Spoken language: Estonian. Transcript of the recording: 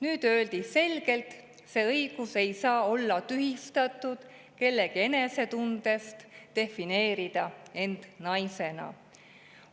Nüüd öeldi selgelt: see õigus ei saa olla tühistatud kellegi enesetundest defineerida end naisena.